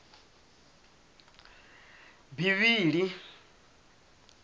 bivhili